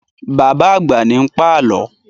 Bàbá àgbà ní ń pàlọ́